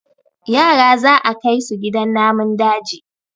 yara za a Kai su gidan namun daji